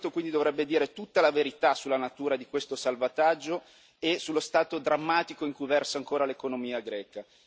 Il Parlamento, quindi, dovrebbe dire tutta la verità sulla natura di questo salvataggio e sullo stato drammatico in cui versa ancora l'economia greca.